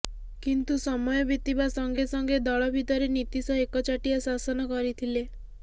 କିନ୍ତୁ ସମୟ ବିତିବା ସଙ୍ଗେ ସଙ୍ଗେ ଦଳ ଭିତରେ ନୀତିଶ ଏକଚାଟିଆ ଶାସନ କରିଥିଲେ